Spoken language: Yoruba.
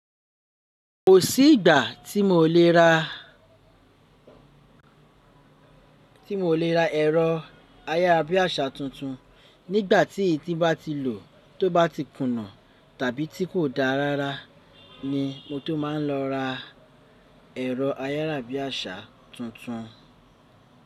Kò sí ìgbà tí mo lè ra tí mi o lè ra ẹ̀rọ ayárabíàṣá tuntun. Nígbà tí èyí tí bà tí lò tó bà tí kùnà tàbí tí kò da rara ni mo tó má n lọ ra ẹ̀rọ ayáràbíàṣá tuntun.